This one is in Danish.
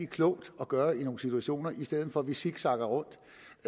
klogt at gøre i nogle situationer i stedet for at vi zigzagger rundt